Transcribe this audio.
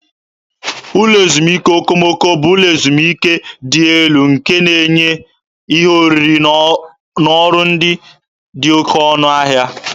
Ụlọ ezumike okomoko bụ ụlọ ezumike dị elu nke na-enye ihe oriri na ọrụ ndị dị oké ọnụ ahịa.